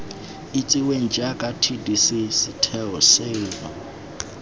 itsiweng jaaka tdc setheo seno